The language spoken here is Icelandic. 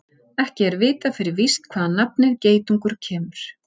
Ekki er vitað fyrir víst hvaðan nafnið geitungur kemur.